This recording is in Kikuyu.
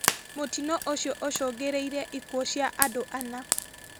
Mũtino ũcio ũcũngĩrĩirie ikuũ cia andũ ana